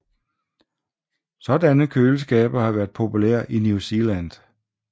Sådanne køleskabe har været populære i New Zealand